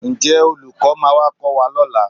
Ǹjẹ́ olùkọ́ máa wá kọ́ wa lọ́la?